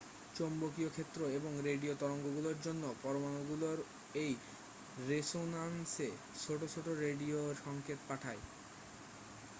চৌম্বকীয় ক্ষেত্র এবং রেডিও তরঙ্গগুলোর জন্য পরমাণুগুলোর এই রেসোনান্সে ছোট ছোট রেডিও সংকেত পাঠায়